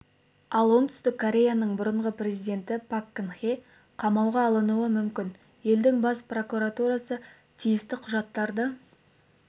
ал оңтүстік кореяның бұрынғы президенті пак кын хе қамауға алынуы мүмкін елдің бас прокуратурасы тиісті құжаттарды